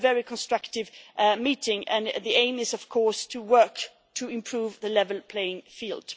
It was a very constructive meeting, and the aim is, of course, to work to improve the level playing field.